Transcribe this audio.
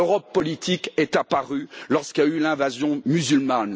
L'Europe politique est apparue lorsqu'il y a eu l'invasion musulmane.